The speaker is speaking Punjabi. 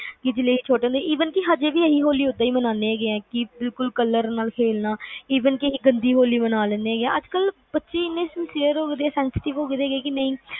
ਕਿ ਜਦੋ ਅਸੀਂ ਛੋਟੇ ਹੁੰਦੇ ਸੀਗੇ even ਕਿ ਅਸੀਂ ਓਦਾਂ ਹੀ ਮਨਾਨੇ ਹੈਗੇ ਆ ਕਿ color ਨਾਲ ਖੇਲਣਾ even ਕਿ ਗੰਦੀ ਹੋਲੀ ਮਨਾ ਲੈਣੇ ਏਨੇ sincere ਹੋਗੇ senstive ਹੋਗੇ